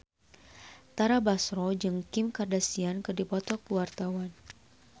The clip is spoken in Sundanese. Tara Basro jeung Kim Kardashian keur dipoto ku wartawan